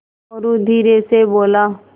मोरू धीरे से बोला